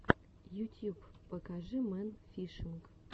ютьюб покажи мэн фишинг